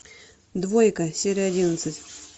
двойка серия одиннадцать